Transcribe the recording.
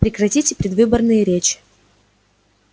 прекратите предвыборные речь